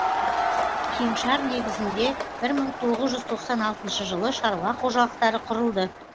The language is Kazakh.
кеңшар негізінде бір мың тоғыз жүз тоқсан алтыншы жылы шаруа қожалықтары құрылды